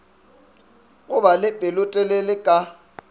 go ba le pelotelele ka